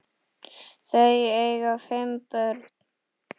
Þau eiga fimm börn